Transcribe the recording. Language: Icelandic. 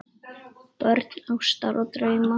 Börn ástar og drauma